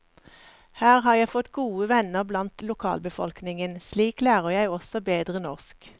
Her har jeg fått gode venner blant lokalbefolkningen, slik lærer jeg også bedre norsk.